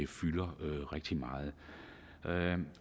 fylder rigtig meget